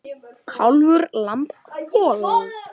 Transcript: Kálfur, lamb, folald.